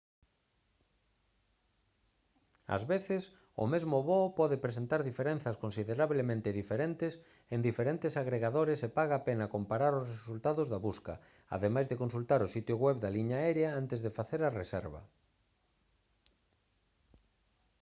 ás veces o mesmo voo pode presentar diferenzas considerablemente diferentes en diferentes agregadores e paga a pena comparar os resultados da busca ademais de consultar o sitio web da liña aérea antes de facer a reserva